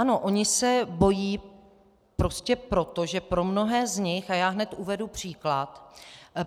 Ano, oni se bojí prostě proto, že pro mnohé z nich - a já hned uvedu příklad.